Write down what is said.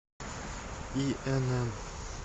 инн